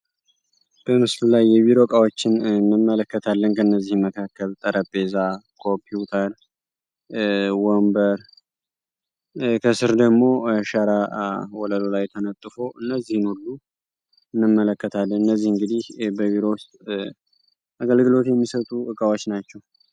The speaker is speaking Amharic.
በምስሉ ላይ የቢሮ እቃዎችን እንመለከታለን ከነዚህም መካከል ጠረጴዛ ፣ኮንፒውተር፣ ወንበር፣ ከስር ደግሞ ሸራ ወለሉ ላይ ተነጥፎ እነዚህን ሁሉ እንመለከታለን። እነዚህ እንግዲህ በቢሮ ውስጥ አገልግሎት የሚሰጡ እቃዎች ናቸው።